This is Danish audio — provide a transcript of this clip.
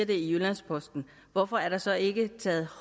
det i jyllands posten hvorfor er der så ikke taget